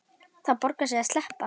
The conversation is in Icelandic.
Það borgar sig að sleppa.